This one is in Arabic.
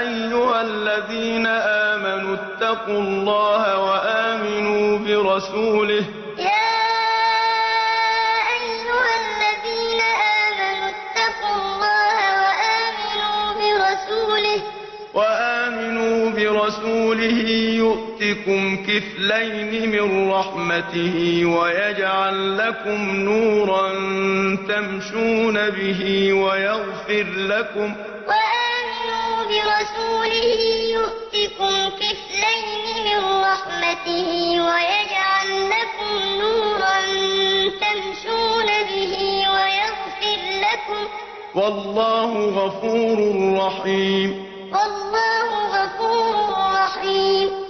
أَيُّهَا الَّذِينَ آمَنُوا اتَّقُوا اللَّهَ وَآمِنُوا بِرَسُولِهِ يُؤْتِكُمْ كِفْلَيْنِ مِن رَّحْمَتِهِ وَيَجْعَل لَّكُمْ نُورًا تَمْشُونَ بِهِ وَيَغْفِرْ لَكُمْ ۚ وَاللَّهُ غَفُورٌ رَّحِيمٌ يَا أَيُّهَا الَّذِينَ آمَنُوا اتَّقُوا اللَّهَ وَآمِنُوا بِرَسُولِهِ يُؤْتِكُمْ كِفْلَيْنِ مِن رَّحْمَتِهِ وَيَجْعَل لَّكُمْ نُورًا تَمْشُونَ بِهِ وَيَغْفِرْ لَكُمْ ۚ وَاللَّهُ غَفُورٌ رَّحِيمٌ